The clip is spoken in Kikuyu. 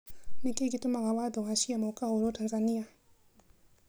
Nĩ kĩĩ gĩtũmaga watho wa ciama ukahũrwa Tanzania?